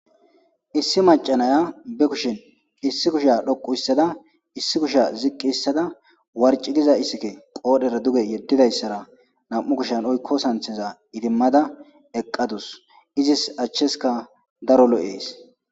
issi macanaya be kushin issi kusha dhoqu hissada issi kusha ziqqi issada warci giza issike qoodhera duge yeddidayssara nam'u kushan oykko santheza idimmada eqqadus izis achcheska daro lo'ees.